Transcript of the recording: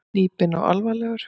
Hnípinn og alvarlegur.